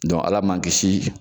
Ala man kisi